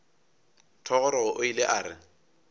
thogorogo o ile a re